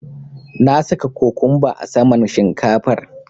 Na saka cokumba a saman shinkafar.